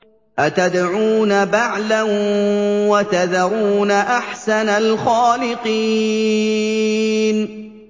أَتَدْعُونَ بَعْلًا وَتَذَرُونَ أَحْسَنَ الْخَالِقِينَ